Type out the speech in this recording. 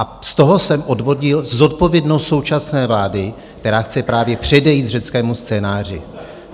A z toho jsem odvodil zodpovědnost současné vlády, která chce právě předejít řeckému scénáři.